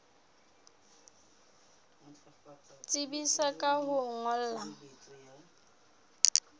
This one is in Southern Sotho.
tsebisa ka ho o ngolla